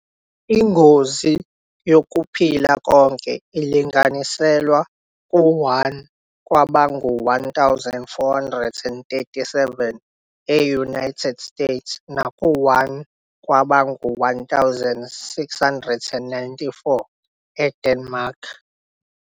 Ingozi yokuphila konke ilinganiselwa ku-1 kwabangu-1,437 e-United States naku-1 kwabangu-1,694 eDenmark.